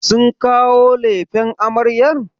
Sun kawo lefen amaryar?